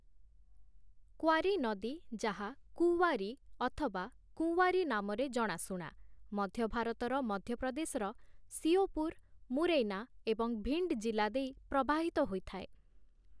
Quarry ନଦୀ, ଯାହା କୁୱାରୀ ଅଥବା କୁଁୱାରୀ ନାମରେ ଜଣାଶୁଣା । ମଧ୍ୟ ଭାରତର ମଧ୍ୟପ୍ରଦେଶର ଶିଓପୁର, ମୁରୈନା, ଏବଂ ଭିଣ୍ଡ ଜିଲ୍ଲା ଦେଇ ପ୍ରବାହିତ ହୋଇଥାଏ ।